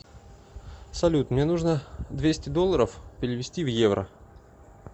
салют мне нужно двести долларов перевести в евро